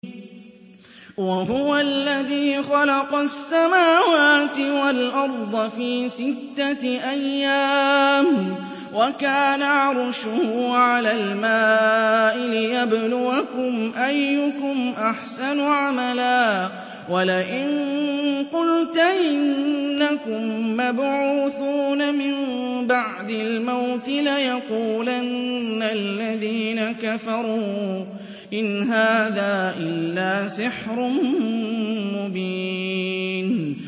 وَهُوَ الَّذِي خَلَقَ السَّمَاوَاتِ وَالْأَرْضَ فِي سِتَّةِ أَيَّامٍ وَكَانَ عَرْشُهُ عَلَى الْمَاءِ لِيَبْلُوَكُمْ أَيُّكُمْ أَحْسَنُ عَمَلًا ۗ وَلَئِن قُلْتَ إِنَّكُم مَّبْعُوثُونَ مِن بَعْدِ الْمَوْتِ لَيَقُولَنَّ الَّذِينَ كَفَرُوا إِنْ هَٰذَا إِلَّا سِحْرٌ مُّبِينٌ